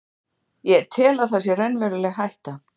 Ég tel að það sé raunveruleg hætta.